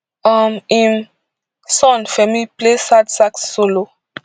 um im son femi play sad sax solo